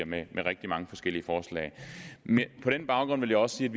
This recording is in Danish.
med rigtig mange forskellige forslag på den baggrund vil jeg også sige